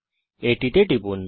এটিতে টিপুন